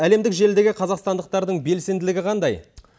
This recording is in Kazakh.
әлемдік желідегі қазақстандықтардың белсенділігі қандай